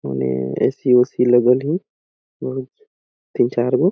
उने A. C. उसि लगल हे उह तीन चार गो--